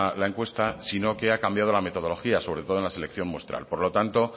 la encuesta sino que ha cambiado la metodología sobre todo en la selección muestral por lo tanto